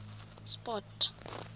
sport